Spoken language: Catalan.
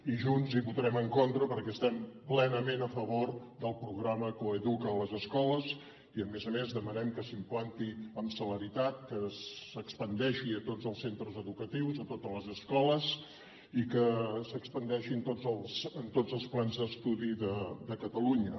i junts hi votarem en contra perquè estem ple·nament a favor del programa coeduca’t a les escoles i a més a més demanem que s’implanti amb celeritat que s’expandeixi a tots els centres educatius a totes les es·coles i que s’expandeixi en tots els plans d’estudi de catalunya